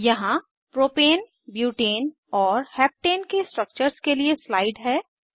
यहाँ propane butane और heptane के स्ट्रक्चर्स के लिए स्लाइड है